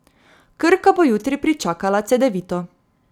Krka bo jutri pričakala Cedevito.